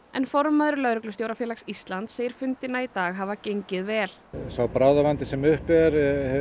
en formaður Lögreglustjórafélags Íslands segir fundina í dag hafa gengið vel sá bráðavandi sem uppi er